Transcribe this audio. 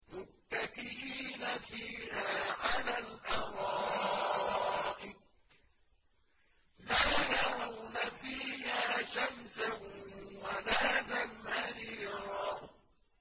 مُّتَّكِئِينَ فِيهَا عَلَى الْأَرَائِكِ ۖ لَا يَرَوْنَ فِيهَا شَمْسًا وَلَا زَمْهَرِيرًا